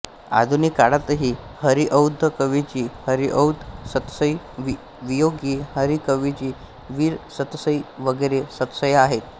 आधुनिक काळातही हरिऔध कवीची हरिऔध सतसई वियोगी हरि कवीची वीर सतसई वगैरे सतसया आहेत